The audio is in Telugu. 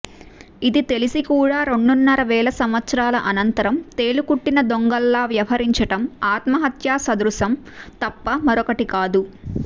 ఇది తెలిసి కూడా రెండున్నర వేల సంవత్సరాల అనంతరం తేలుకుట్టిన దొంగల్లా వ్యవహరించడం ఆత్మహత్యా సదృశం తప్ప మరొకటి కాదు